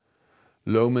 lögmenn